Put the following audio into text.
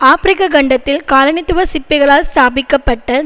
ஆபிரிக்க கண்டத்தில் காலனித்துவ சிற்பிகளால் ஸ்தாபிக்க பட்ட